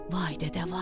Vay dədə vay.